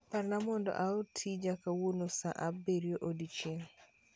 Parna mondo aor tija kawuono saa abirio odiechieng'